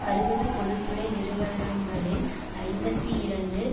அறுபது பொது துறை நிறுவனங்களில் ஐம்பத்தி இரண்டு